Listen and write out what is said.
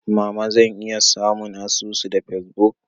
Mama zan iya samun asusu da Facebook?